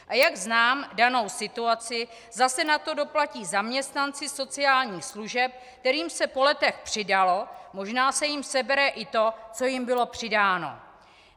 A jak znám danou situaci, zase na to doplatí zaměstnanci sociálních služeb, kterým se po letech přidalo, možná se jim sebere i to, co jim bylo přidáno.